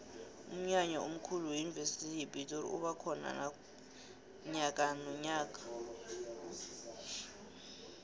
umnyanya omkhulu weyunivesi yepitori uba khona nyakanonyaka